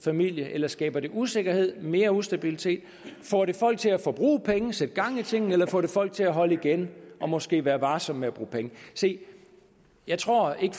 familie eller skaber det usikkerhed mere ustabilitet får det folk til at bruge penge og sætte gang i tingene eller får det folk til at holde igen og måske være varsomme med at bruge penge se jeg tror ikke